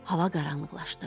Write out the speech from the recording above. Hava qaranlıqlaşdı.